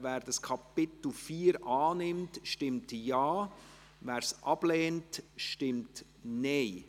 Wer Titel und Ingress annimmt, stimmt Ja, wer dies ablehnt, stimmt Nein.